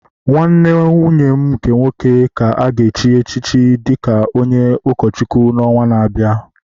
Nwanne nwunye m nke nwoke ka a ga-echi ya dị ka onye ụkọchukwu n’ọnwa na-abịa